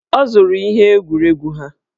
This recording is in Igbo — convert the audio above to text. Ọ zụrụ ihe egwuregwu ha.